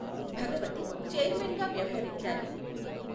Bhagavati chairman గా వ్యవహరించారు.